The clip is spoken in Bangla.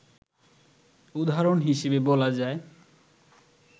উদাহরণ হিসেবে বলা যায়